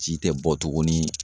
Ji tɛ bɔ tuguni